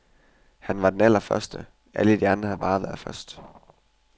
Han var den allerførste, alle de andre har bare været først.